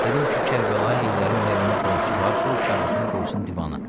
Dedim ki, Kərbəlayı Heydərin əgər ona borcu var, qoy kağızını qoysun divana.